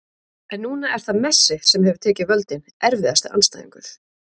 en núna er það messi sem hefur tekið völdin Erfiðasti andstæðingur?